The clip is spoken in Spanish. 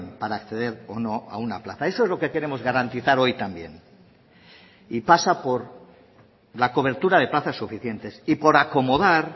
para acceder o no a una plaza eso es lo que queremos garantizar hoy también y pasa por la cobertura de plazas suficientes y por acomodar